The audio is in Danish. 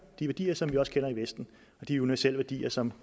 de værdier som vi også kender i vesten de universelle værdier som